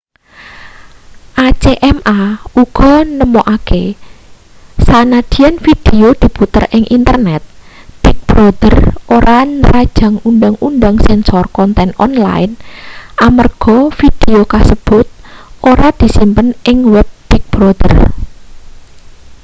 acma uga nemokake sanajan vidio diputer ing internet big brother ora nrajang undhang-undhang sensor konten online amarga vidio kasebut ora disimpen ing web big brother